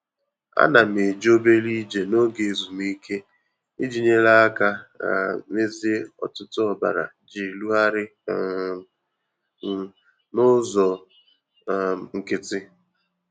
Ana m eje obere ije n'oge ezumike iji nyere aka um mezie ọ̀tụ̀tụ̀ ọbara ji erugharị um m n'ụzọ um nkịtị.